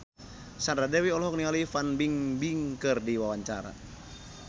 Sandra Dewi olohok ningali Fan Bingbing keur diwawancara